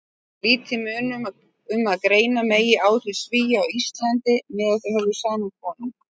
Lítið mun um að greina megi áhrif Svía á Íslandi meðan þeir höfðu sama konung.